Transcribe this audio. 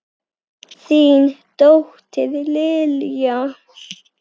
Þín dóttir, Lilja.